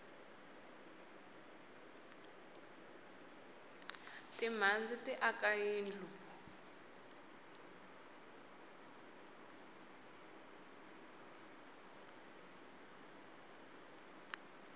timhandzi ti aka yindlu